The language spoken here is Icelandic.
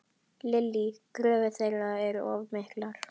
Lillý: Kröfur þeirra of miklar?